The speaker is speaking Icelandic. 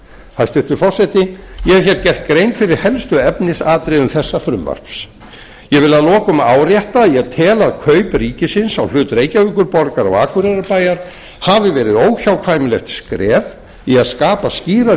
hæstvirtur forseti ég hef hér gert grein fyrir helstu efnisatriðum þessa frumvarps ég vil að lokum árétta að ég tel að kaup ríkisins á hlut reykjavíkurborgar og akureyrarbæjar hafi verið óhjákvæmilegt skref í að skapa skýrari